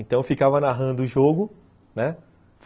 Então eu ficava narrando o jogo, né?